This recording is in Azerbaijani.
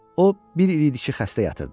O bir il idi ki, xəstə yatırdı.